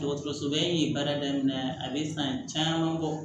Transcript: Dɔgɔtɔrɔsoba in ye baara daminɛ a bɛ san caman bɔ